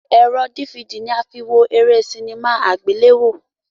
Ẹ̀rọ dífidì ní a fi wọ eré sinimá àgbéléwò.